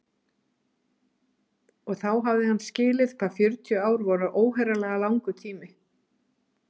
Og þá hafði hann skilið hvað fjörutíu ár voru óheyrilega langur tími.